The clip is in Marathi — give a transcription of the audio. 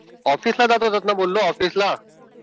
ऑफिसला जात होतो बोललात ना ऑफिसला. आता